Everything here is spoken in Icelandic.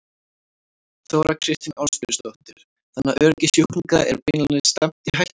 Þóra Kristín Ásgeirsdóttir: Þannig að öryggi sjúklinga er beinlínis stefnt í hættu?